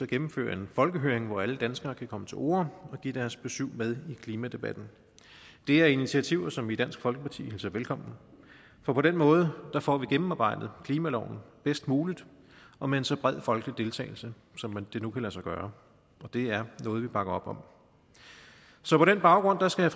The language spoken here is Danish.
gennemføre en folkehøring hvor alle danskere kan komme til orde og give deres besyv med i klimadebatten det er initiativer som vi i dansk folkeparti hilser velkommen for på den måde får vi gennemarbejdet klimaloven bedst muligt og med en så bred folkelig deltagelse som det nu kan lade sig gøre og det er noget vi bakker op om så på den baggrund skal